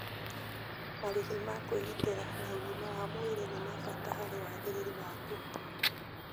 Marĩhi ma kwĩgitĩra na ũgima wa mwĩrĩ nĩ ma bata harĩ wagĩrĩru waku